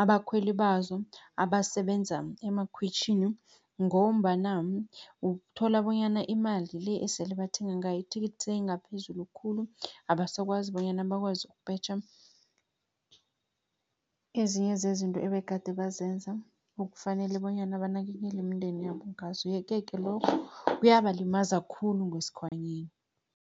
abakhweli bazo abasebenza emakhwitjhini, ngombana uthola bonyana imali le esele bathenga ngayo ithikithi seyingaphezulu khulu. Abasakwazi bonyana bakwazi ukupetjha ezinye zezinto ebegade bazenza, okufanele bonyana banakekele imindeni yabo ngazo. Yeke-ke lokhu kuyabalimaza khulu ngesikhwanyeni.